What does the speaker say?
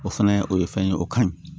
O fɛnɛ o ye fɛn ye o ka ɲi